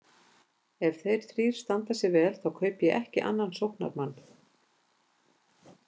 Ef þeir þrír standa sig vel þá kaupi ég ekki annan sóknarmann.